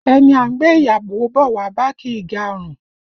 Ẹni a ń gbé ìyàwó bọ̀ wá bá, kì í ga ọrùn